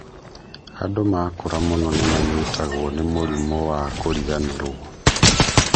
And makũra mũno nĩmanyitagwo ni mũrimũ wa kũriganĩrwo